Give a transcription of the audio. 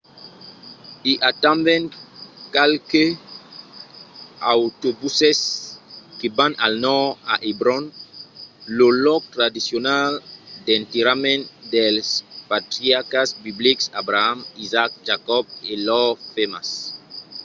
i a tanben qualques autobuses que van al nòrd a hebron lo lòc tradicional d’enterrament dels patriarcas biblics abraham isaac jacòb e lors femnas